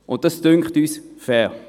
Wir sind der Ansicht, das sei fair.